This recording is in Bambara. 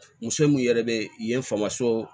Muso min yɛrɛ bɛ yen famuso